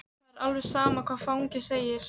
Það er alveg sama hvað fangi segir.